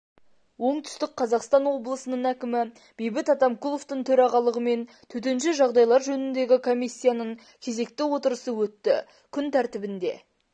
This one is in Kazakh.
оңтүстік қазақстан облысының әкімі бейбіт атамкуловтың төрағалығымен төтенше жағдайлар жөніндегі комиссиясының кезекті отырысы өтті күн тәртібінде